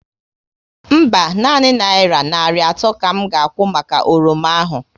Mba, nanị naira narị atọ ka m ga akwụ maka oroma ahụ